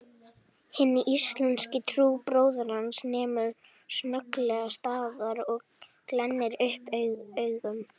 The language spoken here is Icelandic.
Hinn íslenski trúbróðir hans nemur snögglega staðar og glennir upp augun